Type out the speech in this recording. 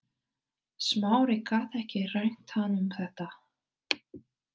Smári gat ekki rengt hann um þetta.